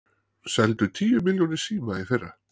Seldu tíu milljónir síma í fyrra